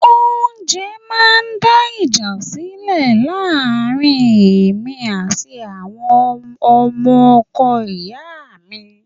Oúnjẹ máa ń dá ìjà sílẹ̀ láàrin èmi àti àwọn ọmọ ọkọ ìyá mi